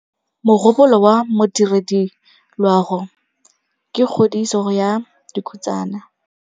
Mogôpolô wa Modirediloagô ke kgodiso ya dikhutsana.